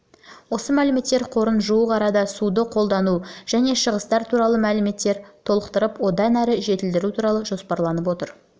осы мәліметтер қорын жуық арада суды қолдану және шығыстар туралы мәліметтермен толықтырып одан әрі жетілдіру туралы жоспарланып отыр